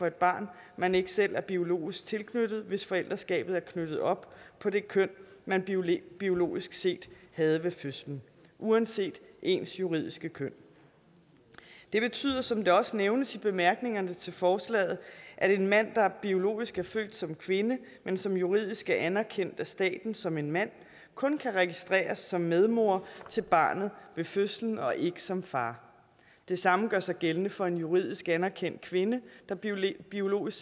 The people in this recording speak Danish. et barn man ikke selv er biologisk tilknyttet hvis forældreskabet er knyttet op på det køn man biologisk set havde ved fødslen uanset ens juridiske køn det betyder som det også nævnes i bemærkningerne til forslaget at en mand der biologisk er født som kvinde men som juridisk er anerkendt af staten som en mand kun kan registreres som medmor til barnet ved fødslen og ikke som far det samme gør sig gældende for en juridisk anerkendt kvinde der biologisk biologisk